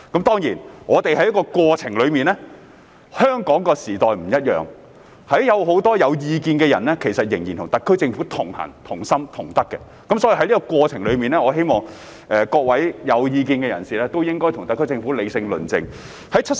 當然，我們在過程中，香港的時代不一樣，有很多有意見的人仍然與特區政府同行、同心、同德，我希望在過程中各位有意見的人士應該與特區政府理性論政。